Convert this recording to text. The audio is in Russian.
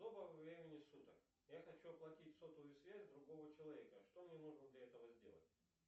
доброго времени суток я хочу оплатить сотовую связь другого человека что мне нужно для этого сделать